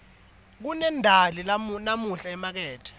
kunendali namuhla emakethe